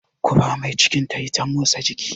Ku bar mai cikin ta yi ta motsa jiki!